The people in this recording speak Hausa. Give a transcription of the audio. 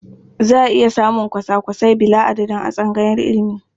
Za a iya samun kwasa-kwasai bila'adadin a tsangayar ilimi.